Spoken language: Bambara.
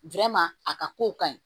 a ka kow ka ɲi